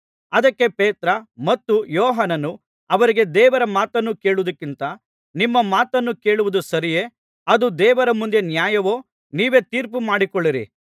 ಅದಕ್ಕೆ ಪೇತ್ರ ಮತ್ತು ಯೋಹಾನನ್ನು ಅವರಿಗೆ ದೇವರ ಮಾತನ್ನು ಕೇಳುವುದಕ್ಕಿಂತ ನಿಮ್ಮ ಮಾತನ್ನು ಕೇಳುವುದು ಸರಿಯೇ ಅದು ದೇವರ ಮುಂದೆ ನ್ಯಾಯವೋ ನೀವೇ ತೀರ್ಪು ಮಾಡಿಕೊಳ್ಳಿರಿ